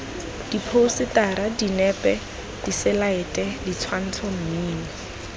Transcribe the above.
diphousetara dinepe diselaete ditshwantsho mmino